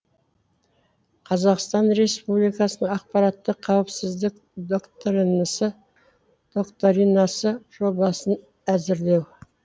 қазақстан республикасының ақпараттық қауіпсіздік доктринасы жобасын әзірлеу